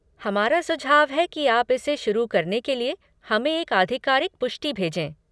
हमारा सुझाव है कि आप इसे शुरू करने के लिए हमें एक आधिकारिक पुष्टि भेजें।